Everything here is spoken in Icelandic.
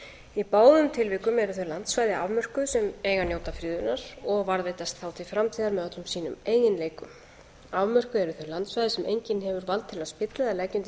í báðum tilvikum eru þau landsvæði afmörkuð sem eiga að njóta friðunar og varðveitast þá til framtíðar með öllum sínum eiginleikum afmörkuð eru þau landsvæði sem enginn hefur vald til að spilla eða leggja undir